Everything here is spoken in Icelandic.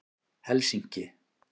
Helsinki